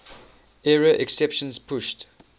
error exceptions pushed